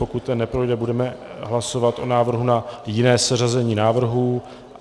Pokud ten neprojde, budeme hlasovat o návrhu na jiné seřazení návrhů.